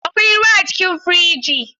Akwai ruwa a cikin firiji?